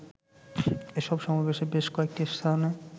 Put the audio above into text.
এসব সমাবেশে বেশ কয়েকটি স্থানে